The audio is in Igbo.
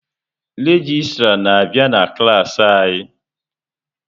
Regịstrá na-abịa na klas anyị.